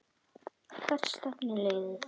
Hvert stefnir liðið?